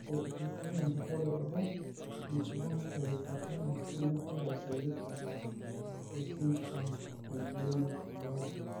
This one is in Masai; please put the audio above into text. Kake, etuutua enjurore edet enkibung'a terishata entoroni evirus eZika o esindirom eGuillain Barre (GBS).